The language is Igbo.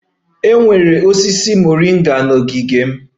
E nwere osisi moringa n'ogige m